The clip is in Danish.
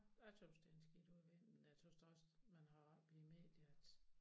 Jeg tøs det en skidt udvikling og jeg tøs da også man har ret i medier at